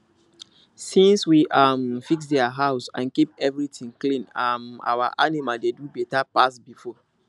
since we um fix their house and keep everywhere clean um our animal dey do better pass before